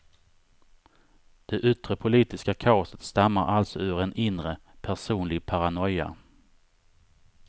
Det yttre politiska kaoset stammar alltså ur en inre, personlig paranoia.